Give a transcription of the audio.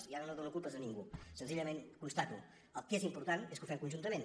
i ara no dono culpes a ningú senzillament ho constato el que és important és que ho fem conjuntament